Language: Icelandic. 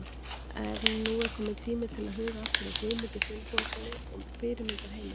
En nú er tími til kominn til að huga aftur að Guðmundi Finnbogasyni og fyrirmyndarheimilinu.